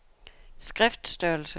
skriftstørrelse